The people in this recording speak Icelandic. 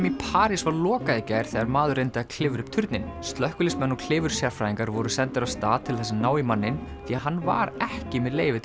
í París var lokað í gær þegar maður reyndi að klifra upp turninn slökkviliðsmenn og klifursérfræðingar voru sendir af stað til þess að ná í manninn því hann var ekki með leyfi